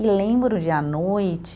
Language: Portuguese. E lembro de à noite